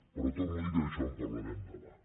però torno a dir que d’això en parlarem demà